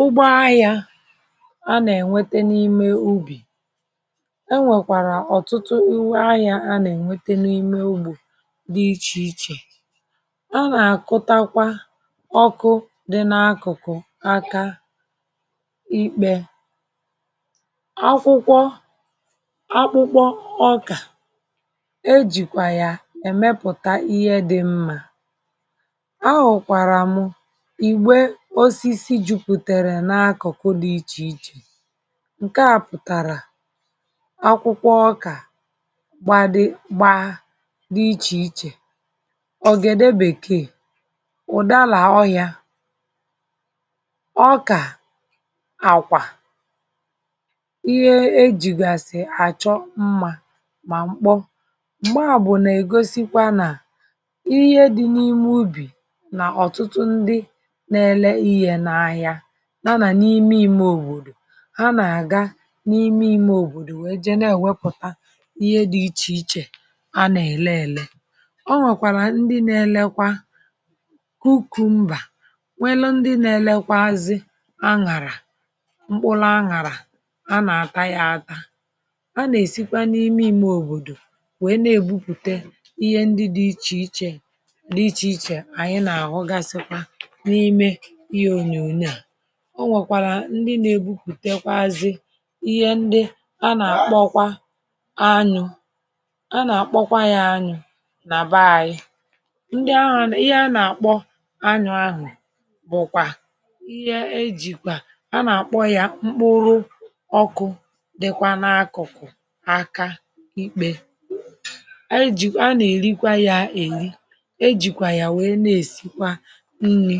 ụgbọ ahịa a nà-ènwete n’ime ubì, e nwèkwàrà ọ̀tụtụ iwe ahịa a nà-ènwete n’ime ugbò dị ichè ichè a nà-àkọtakwa ọkụ dị n’akụ̀kụ̀ aka ikpė akwụkwọ akwụkwọ ọkà e jìkwà yà èmepùta ihe dị mma a hụ̀kwàrà m igbè osisi juputere n'akuku di iche iche nke a putara akwụkwọ oka gbadi gba di iche iche, ogede bekee, udara ohia, oka nakwa ihe ejigasi acho mma ma mkpo mgbabu nà ègosikwa nà ihe dị̇ n’ime ubì nà ọ̀tụtụ ndị na-ele ihe n’ahịa na anà n’ime ime òbòdò ha nà-àga n’ime ime òbòdò wèe je na-èwepụ̀ta ihe dị̇ ichè ichè anà-èle ele o nwèkwàlà ndị na-elekwa kukùmbà nwelu ndị na-elekwa azị aṅàrà mkpụlụ aṅàrà a nà-ata ya aka a nà-èsikwa n’ime ime òbòdò wèe na-ègbupùte ihe ndị dị̇ ichè ichè n’ichè ichè ànyị nà-àgụgasị n’ime ihe onyonyo a ọ nwèkwàrà ndị nȧ-ebukwùtekwazi ihe ndị a nà-àkpọkwa anyụ̇ a nà-àkpọkwa yȧ anyụ̇ nà bee anyị̇ ndị ahụ̀ nà ihe a nà-àkpọ anyụ̇ ahụ̀ bụ̀kwà ihe ejìkwà a nà-àkpọ yȧ mkpụrụ ọkụ dịkwa n’akụ̀kụ̀ aka ikpė ejìkwà a nà-èrikwa yȧ èyi ejìkwà yà wèe na-èsikwa nri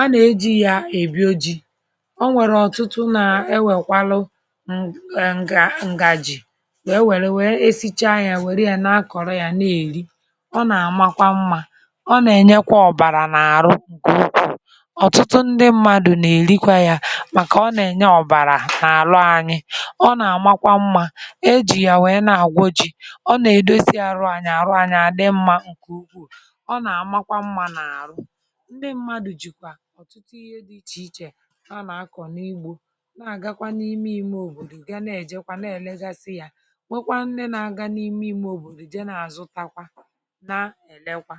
a nà-eji ya èbi ojii̇ o nwèrè ọ̀tụtụ na-ewèkwalu um ǹgàji wèe wèrè wèe esicha yȧ wèrè ya na-akọ̀rọ ya na-èri ọ nà-àmakwa mmȧ ọ nà-ènyekwa ọ̀bàrà n’àrụ ǹkè ụkwuụ̇ ọ̀tụtụ ndị mmadụ̀ nà-èrikwa ya màkà ọ nà-ènye ọ̀bàrà n’àrụ anyị ọ nà-àmakwa mmȧ e jì ya wèe na-àgwoji ọ nà-èdosi àrụ anyị àrụ anya adị mmȧ ǹkè ukwuù ọ nà-àmakwa mmȧ nà àrụ ndi mmadu jikwa ọ̀tụtụ ihe dị ichè ichè na-akọ̀ n’ugbò na-àgakwa n’ime imė òbòdò ga na-èjekwa na-èlegasị ya nwekwaa nne na-agȧ n’ime imė òbòdò je na-àzụ takwa na-èlekwa.